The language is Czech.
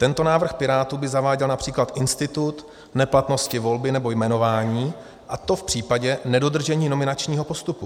Tento návrh Pirátů by zaváděl například institut neplatnosti volby nebo jmenování, a to v případě nedodržení nominačního postupu.